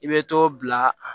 I bɛ to bila